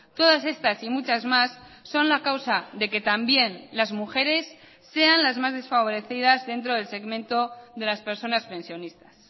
todas estas y muchas más son la causa de que también las mujeres sean las más desfavorecidas dentro del segmento de las personas pensionistas